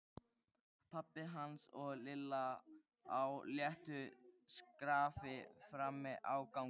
Pabbi hans og Lilla á léttu skrafi frammi á gangi.